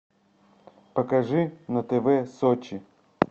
покажи на тв сочи